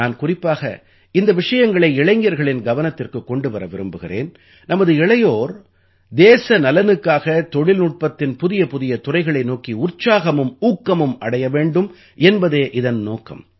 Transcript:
நான் குறிப்பாக இந்த விஷயங்களை இளைஞர்களின் கவனத்திற்குக் கொண்டு வர விரும்புகிறேன் நமது இளையோர் தேச நலனுக்காகத் தொழில்நுட்பத்தின் புதியபுதிய துறைகளை நோக்கி உற்சாகமும் ஊக்கமும் அடைய வேண்டும் என்பதே இதன் நோக்கம்